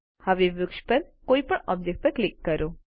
હવે વૃક્ષ પર કોઈપણ ઑબ્જેક્ટ પર ક્લિક કરો